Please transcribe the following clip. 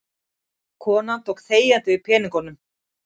Konan tók þegjandi við peningunum.